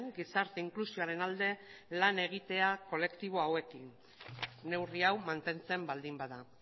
gizarte inklusioaren alde lan egitea kolektibo hauekin neurri hau mantentzen baldin bada